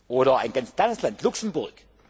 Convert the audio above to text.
ab. Oder ein ganz kleines Land Luxemburg.